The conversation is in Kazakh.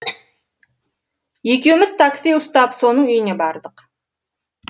екеуміз такси ұстап соның үйіне бардық